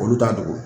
Olu t'a dogo